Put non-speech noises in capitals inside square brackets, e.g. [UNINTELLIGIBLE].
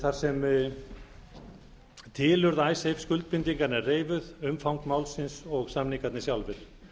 þar sem tilurð [UNINTELLIGIBLE] skuldbindinganna er reifuð umfang málsins og samningarnir sjálfir